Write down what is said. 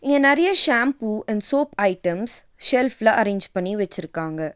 இங்க நெறைய shampoo and soap items செல்ஃப்ல அரேஞ் பண்ணி வச்சிருக்காங்க.